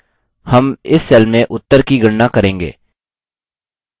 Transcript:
हम इस cell में उत्तर की गणना करेंगे